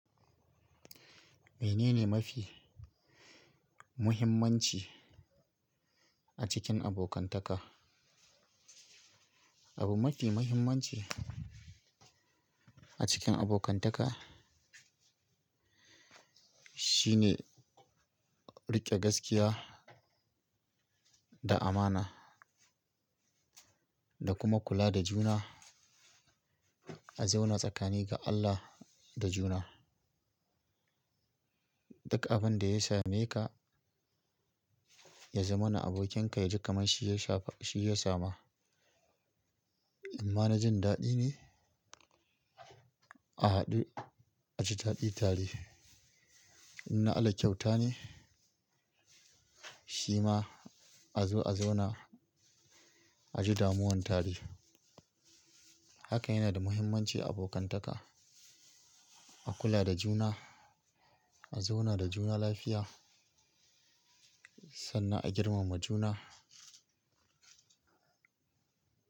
Menene mafi muhimmanci a cikin abokantaka? Abu mafi muhimmanci a cikin abokantaka shine riƙe gaskiya da amana da kuma kula da juna, a zauna tsakani ga Allah da juna. Duk abin da ya same ka, ya zamana abokinka, ya ji kamar shi ya sha, shi ya sama. In ma na jin daɗi ne, a haɗu a ji daɗi tare. In na ala kyauta ne, shima a zo a zauna a ji damuwan tare. Haka yana da muhimmanci a abokantaka, a kula da juna, a zauna da juna lafiya sannan a girmama juna.